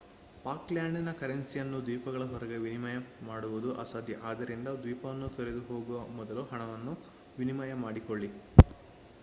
Falklands ಕರೆನ್ಸಿಯನ್ನು ದ್ವೀಪಗಳ ಹೊರಗೆ ವಿನಿಮಯ ಮಾಡುವುದು ಅಸಾಧ್ಯ ಆದ್ದರಿಂದ ದ್ವೀಪಗಳನ್ನು ತೊರೆದು ಹೋಗುವ ಮೊದಲು ಹಣವನ್ನು ವಿನಿಮಯ ಮಾಡಿಕೊಳ್ಳಿ